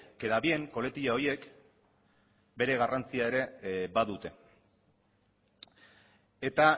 queda bien koletila horiek bere garrantzia ere badute eta